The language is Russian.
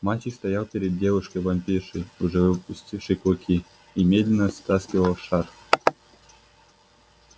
мальчик стоял перед девушкой-вампиршей уже выпустившей клыки и медленно стаскивал шарф